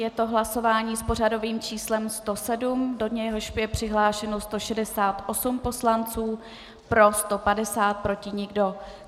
Je to hlasování s pořadovým číslem 107, do něhož je přihlášeno 168 poslanců, pro 150, proti nikdo.